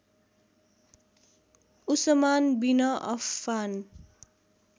Usman bin Affan